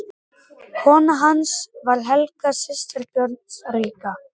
Kona hans var Helga, systir Björns ríka.